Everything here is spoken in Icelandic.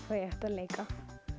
hvað ég átti að leika